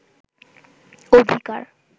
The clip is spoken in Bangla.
অধিকার